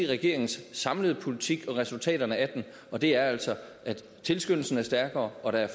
regeringens samlede politik og resultaterne af den og det er altså at tilskyndelsen er stærkere og at